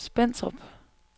Spentrup